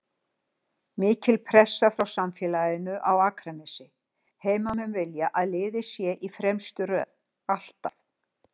Mikil pressa frá samfélaginu á Akranesi, heimamenn vilja að liðið sé í fremstu röð, ALLTAF!